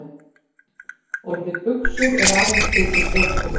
Orðið buxur er aðeins til í fleirtölu.